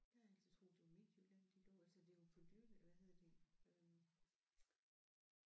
Jeg har altid troet det var Midtjylland de lå altså det er jo på dyrlæge hvad hedder det øh